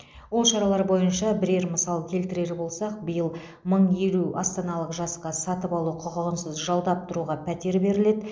ол шаралар бойынша бірер мысал келтірер болсақ биыл мың елу астаналық жасқа сатып алу құқығынсыз жалдап тұруға пәтер беріледі